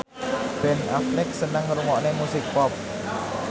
Ben Affleck seneng ngrungokne musik pop